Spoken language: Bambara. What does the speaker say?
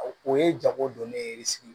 O ye jago don ne ye sigi